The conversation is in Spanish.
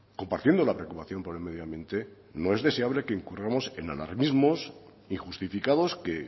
compartiendo la preocupación por el medio ambiente no es deseable que incurramos en alarmismos injustificados que